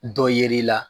Dɔ ye yer'i la